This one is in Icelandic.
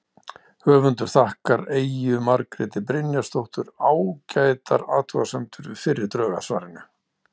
Höfundur þakkar Eyju Margréti Brynjarsdóttur ágætar athugasemdir við fyrri drög að svarinu.